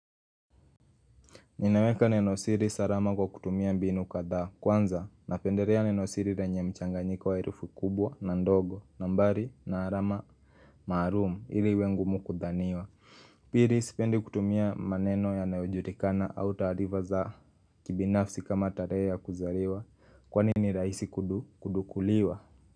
Ninaweka nenosiri salama kwa kutumia mbinu kadhaa kwanza napendelea nenosiri lenye mchanganyiko wa herufi kubwa na ndogo nambari na alama maalum ili iwe ngumu kudhaniwa Pili sipendi kutumia maneno yanayojulikana au taarifa za kibinafsi kama tarehe ya kuzaliwa kwani ni rahisi kudukuliwa.